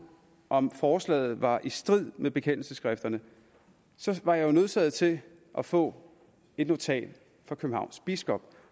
om forslaget var i strid med bekendelsesskrifterne var jeg nødsaget til at få et notat fra københavns biskop